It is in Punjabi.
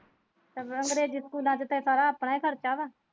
ਸਗੋਂ ਅੰਗਰੇਜੀ ਸਕੂਲਾਂ ਚ ਤਾਂ ਸਾਰਾ ਆਪਣਾ ਹੀ ਖਰਚਾ ਵਾਂ।